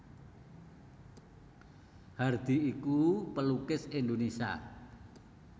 Hardi iku pelukis Indonesia